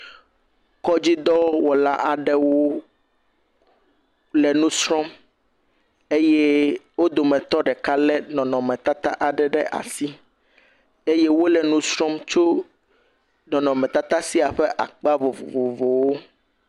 Kɔdzidɔwɔla aɖewo le nusrɔm eye wò dometɔ ɖeka aɖe le nɔnɔme tata aɖe le asi eye wole nusrɔm tso nɔnɔme tata sia ƒe akpa vovovowo nu.